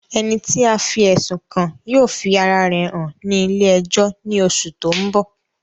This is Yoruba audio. Ẹni tí a fí ẹ̀sùn kàn yóò fi ara rẹ̀ hàn ní ilé ẹjọ́ ní oṣù tó ń bọ̀